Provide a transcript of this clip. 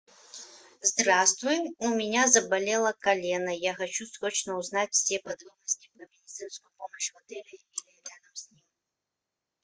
здравствуй у меня заболело колено я хочу срочно узнать все подробности про медицинскую помощь в отеле или рядом с ним